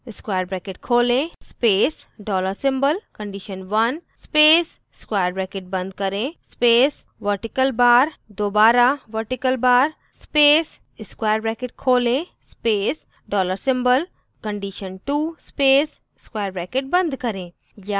* square bracket खोलें space dollar symbol condition1 space square bracket बंद करें space vertical bar दोबारा vertical bar space square bracket खोलें space dollar symbol condition2 space square bracket बंद करें